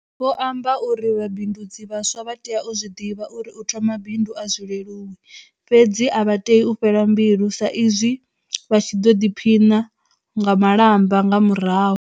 Vho amba uri vha bindudzi vhaswa vha tea u zwi ḓivha uri u thoma bindu a zwi leluwi, fhedzi a vha tei u fhela mbilu sa izwi vha tshi ḓo ḓiphina nga malamba nga murahu.